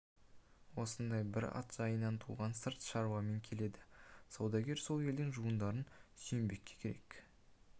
осындай бір ат жайынан туған сырт шаруамен келеді саудагер сол елдің жуандарына сүйенбекке керек